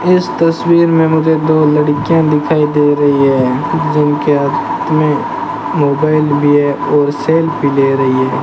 इस तस्वीर में मुझे दो लड़कियां दिखाई दे रही है जिनके हाथ में मोबाइल भी है और सेल्फी ले रही है।